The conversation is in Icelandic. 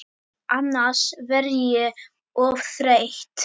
Annars verð ég of þreytt.